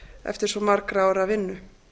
eftir svo margra ára vinnu